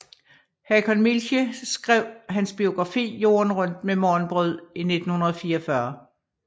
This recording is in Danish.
Hakon Mielche skrev hans biografi Jorden rundt med Morgenbrød i 1944